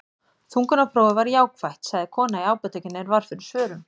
Þungunarprófið var jákvætt, sagði kona í apótekinu er varð fyrir svörum.